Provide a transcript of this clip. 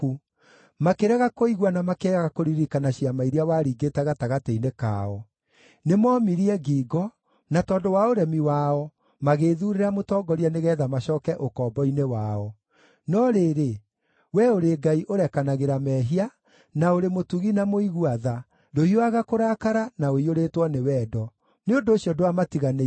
Makĩrega kũigua na makĩaga kũririkana ciama iria waringĩte gatagatĩ-inĩ kao. Nĩmoomirie ngingo, na tondũ wa ũremi wao magĩĩthuurĩra mũtongoria nĩgeetha macooke ũkombo-inĩ wao. No rĩrĩ, we ũrĩ Ngai ũrekanagĩra mehia, na ũrĩ mũtugi na mũigua tha, ndũhiũhaga kũrakara na ũiyũrĩtwo nĩ wendo. Nĩ ũndũ ũcio ndwamatiganĩirie,